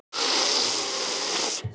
Hún finnur fyrir ólgu í maganum.